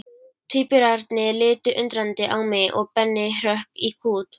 Tvíburarnir litu undrandi á mig og Benni hrökk í kút.